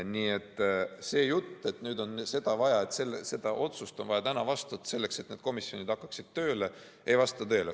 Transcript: Nii et see jutt, et nüüd on see otsus vaja täna vastu võtta, selleks et need komisjonid hakkaksid tööle, ei vasta tõele.